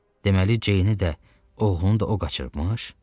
Deməli, Ceyni də, oğlunu da o qaçırıbmış?